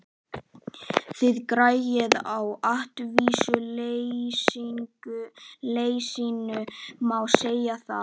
Þið græðið á atvinnuleysinu, má segja það?